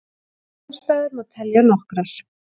Ástæður má telja nokkrar.